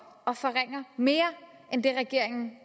og forringer mere end det regeringen